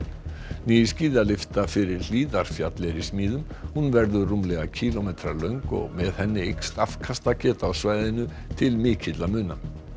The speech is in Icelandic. ný skíðalyfta fyrir Hlíðarfjall er í smíðum hún verður rúmlega kílómetra löng og með henni eykst afkastageta á svæðinu til mikilla muna